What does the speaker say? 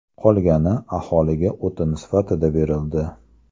Qolgani aholiga o‘tin sifatida berildi.